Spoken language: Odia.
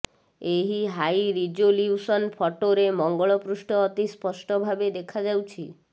ଏହି ହାଇ ରିଜୋଲ୍ୟୁସନ୍ ଫଟୋରେ ମଙ୍ଗଳ ପୃଷ୍ଠ ଅତି ସ୍ପଷ୍ଟ ଭାବେ ଦେଖାଯାଉଛି